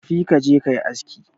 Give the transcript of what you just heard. tafi ka je ka yi aski